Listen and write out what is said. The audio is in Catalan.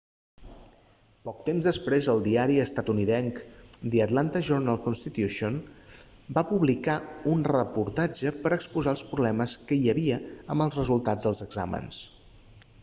poc temps després el diari estatunidenc the atlanta journal-constitution va publicar un reportatge per a exposar els problemes que hi havia amb els resultats dels exàmens